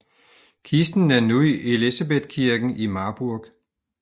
Kisten er nu i Elisabethkirken i Marburg